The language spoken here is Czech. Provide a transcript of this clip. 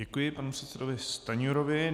Děkuji panu předsedovi Stanjurovi.